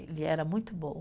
Ele era muito bom.